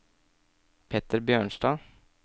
Petter Bjørnstad